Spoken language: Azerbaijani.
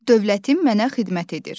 Dövlətin mənə xidmət edir.